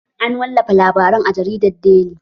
An wallafa labarin a jaridar deli